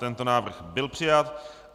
Tento návrh byl přijat.